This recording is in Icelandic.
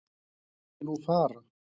Viltu nú fara!